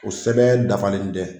O sɛbɛn dafalen dɛ.